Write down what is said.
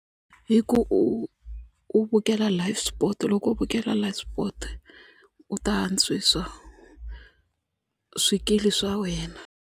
Hi ku u vukela life sport loko u vukela life spot u ta antswisa swikili swa wena.